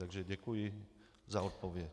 Takže děkuji za odpověď.